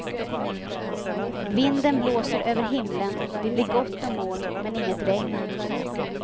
Vinden blåser över himlen, det blir gott om moln men inget regn.